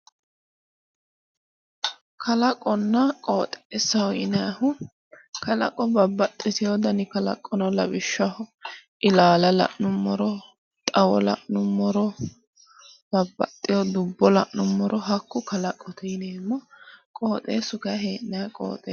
Kalaqonna qoxeesaho yinayihu kalaqo babbaxxitewo dani kalaqo no lawishshaho ilaala la'numoro xawo la'numoro babaxewo dubbo la'numoro hakku kalaqote yineemo qoxeesu kayi hee'nayi qoxessaati